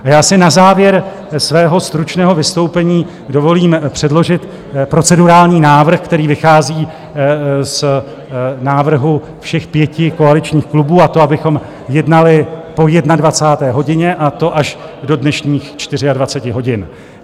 A já si na závěr svého stručného vystoupení dovolím předložit procedurální návrh, který vychází z návrhu všech pěti koaličních klubů, a to abychom jednali po 21. hodině, a to až do dnešních 24 hodin.